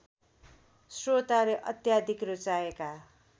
श्रोताले अत्याधिक रुचाएका